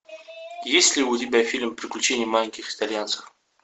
есть ли у тебя фильм приключения маленьких итальянцев